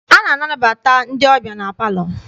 A na-anabata ndị ọbịa na palọ.